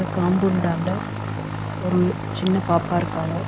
காம்பவுண்டான்ட ஒரு சின்ன பாப்பா இருக்காங்க.